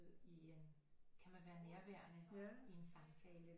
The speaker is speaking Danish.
I en kan man være nærværende i en samtale